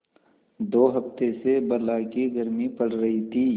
दो हफ्ते से बला की गर्मी पड़ रही थी